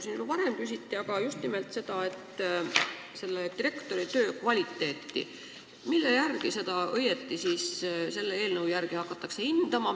Mille järgi direktori töö kvaliteeti selle eelnõu järgi ikkagi hindama hakatakse?